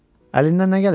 Əlindən nə gəlir?